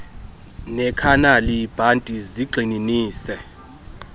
nekhanali bhanti zigxininise